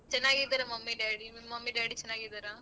ಚೆನ್ನಾಗಿದಿರ mummy daddy ನಿಮ್ mummy daddy ಚೆನ್ನಾಗಿದಾರ?